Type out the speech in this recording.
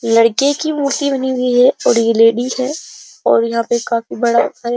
लड़के की मूर्ती बनी हुई है और ये लेडी है और यहां पे काफी बड़ा --